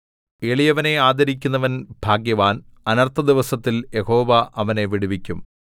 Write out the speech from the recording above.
എളിയവനെ ആദരിക്കുന്നവൻ ഭാഗ്യവാൻ അനർത്ഥദിവസത്തിൽ യഹോവ അവനെ വിടുവിക്കും